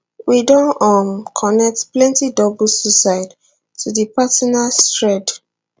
we don um connect plenti double suicides to di partners thread